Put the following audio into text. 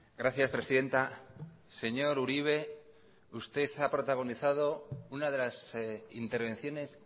gracias presidenta señor uribe usted ha protagonizado una de las intervenciones